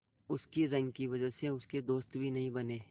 उसकी रंग की वजह से उसके दोस्त भी नहीं बने